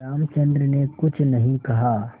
रामचंद्र ने कुछ नहीं कहा